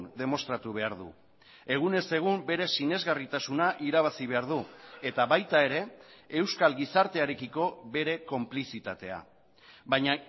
demostratu behar du egunez egun bere sinesgarritasuna irabazi behar du eta baita ere euskal gizartearekiko bere konplizitatea baina